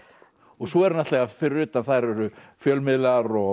svo fyrir utan þar eru fjölmiðlar og